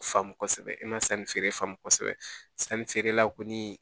Faamu kosɛbɛ e ma sanni feere kosɛbɛ sanni feerela kɔni